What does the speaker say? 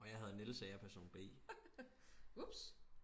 og jeg hedder Niels og jeg er person b